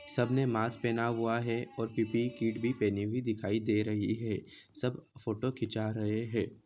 सब ने मास्क पहना हुआ है और पिपिक किट भी पहनी हुई दिखाई दे रही है सब फोटो खींचा रहे है।